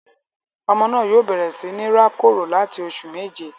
Ọmọ naa yoo bẹrẹ si ni ra koro lati oṣu meje